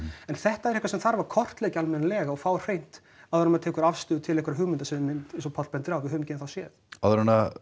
en þetta er eitthvað sem þarf að kortleggja almennilega og fá á hreint áður en maður tekur afstöðu til einhverja hluta eins og Páll bendir á höfum ekki enn þá séð áður en